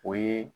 O ye